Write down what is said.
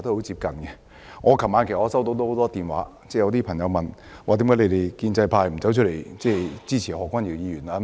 昨晚我收到很多朋友來電，他們問我，為何我們建制派不出來發言支持何君堯議員。